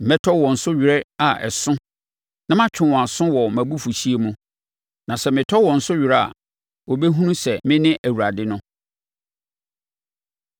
Mɛtɔ wɔn so were a ɛso, na matwe wɔn aso wɔ mʼabufuhyeɛ mu. Na sɛ metɔ wɔn so were a, wɔbɛhunu sɛ mene Awurade no.’ ”